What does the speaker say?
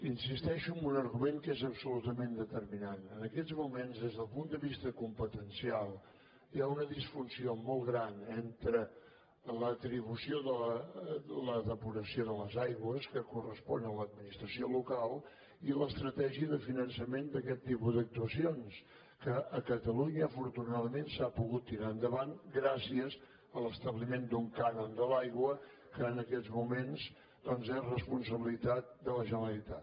insisteixo en un argument que és absolutament determinant en aquests moments des del punt de vista competencial hi ha una disfunció molt gran entre l’atribució de la depuració de les aigües que correspon a l’administració local i l’estratègia de finançament d’aquest tipus d’actuacions que a catalunya afortunadament s’ha pogut tirar endavant gràcies a l’establiment d’un cànon de l’aigua que en aquests moments doncs és responsabilitat de la generalitat